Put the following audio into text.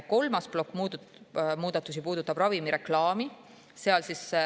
Kolmas plokk muudatusi puudutab ravimireklaami.